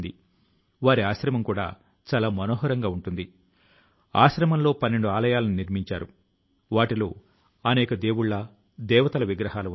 ప్రభుత్వం పాత పద్ధతులను మార్చడం ప్రారంభించినప్పటి నుండి ఈ ఫైళ్లు కాగితాలు డిజిటలైజ్ అయి కంప్యూటర్ ఫోల్డర్ లో నిలవ ఉంటున్నాయి